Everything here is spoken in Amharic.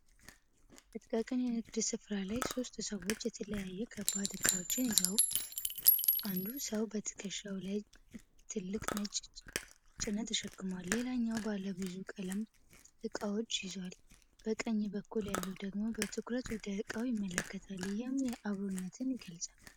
በጥቃቅን የንግድ ስፍራ ላይ ሦስት ሰዎች የተለያዩ ከባድ ዕቃዎችን ይዘው፣ አንዱ ሰው በትከሻው ላይ ትልቅ ነጭ ጭነት ተሸክሟል። ሌላኛው ባለብዙ ቀለም ዕቃዎችን ይዟል። በቀኝ በኩል ያለው ደግሞ በትኩረት ወደ እቃው ይመለከታል፤ ይህም አክብሮትን ይገልጻል።